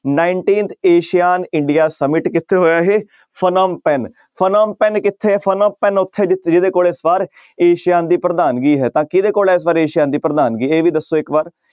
Nineteenth ASEAN India summit ਕਿੱਥੇ ਹੋਇਆ ਇਹ ਫਨਿਮਪੈਨ ਫਨਿਮਪੈਨ ਕਿੱਥੇ ਹੈ ਫਨਿਮਪੈਨ ਉੱਥੇ ਜਿ~ ਜਿਹਦੇ ਕੋਲ ਇਸ ਵਾਰ ਏਸੀਆ ਦੀ ਪ੍ਰਧਾਨਗੀ ਹੈ ਤਾਂ ਕਿਹਦੇ ਕੋਲ ਇਸ ਵਾਰ ਏਸੀਆ ਦੀ ਪ੍ਰਧਾਨਗੀ ਇਹ ਵੀ ਦੱਸੋ ਇੱਕ ਵਾਰ।